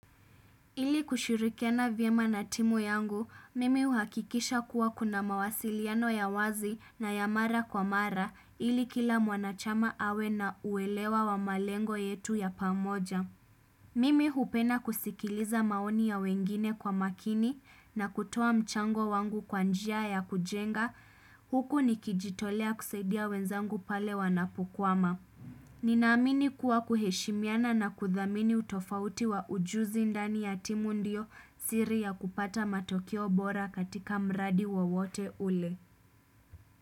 Ili kushirikiana vyema na timu yangu, mimi uhakikisha kuwa kuna mawasiliano ya wazi na ya mara kwa mara ili kila mwana chama awe na uelewa wa malengo yetu ya pamoja. Mimi hupenda kusikiliza maoni ya wengine kwa maakini na kutoa mchango wangu kwa njia ya kujenga, huku nikijitolea kusaidia wenzangu pale wanapokwama. Ninaamini kuwa kuheshimiana na kuthamini utofauti wa ujuzi ndani ya timu ndio siri ya kupata matokeo bora katika mradi wowote ule.